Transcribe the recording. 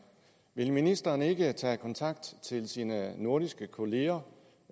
vil ministeren ikke tage kontakt til sine nordiske kolleger